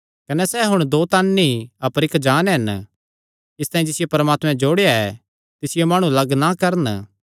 कने सैह़ हुण दो तन नीं अपर इक्क जान्न हन इसतांई जिसियो परमात्मैं जोड़या ऐ तिसियो माणु लग्ग ना करन